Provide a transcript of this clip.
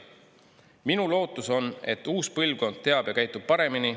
Minu lootus on, et uus põlvkond teab ja käitub paremini.